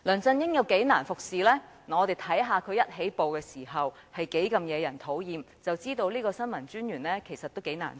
只要看看他一開始是多麼惹人討厭，便知道新聞統籌專員確實難為。